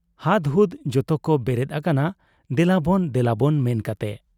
ᱦᱟᱫᱽᱦᱩᱫᱽ ᱡᱚᱛᱚᱠᱚ ᱵᱮᱨᱮᱫ ᱟᱠᱟᱱᱟ ᱫᱮᱞᱟᱵᱚᱱ ᱫᱮᱞᱟᱵᱚᱱ ᱢᱮᱱ ᱠᱟᱛᱮ ᱾